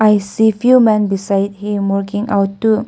i see if you a man beside the working out door.